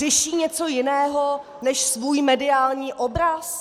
Řeší něco jiného než svůj mediální obraz?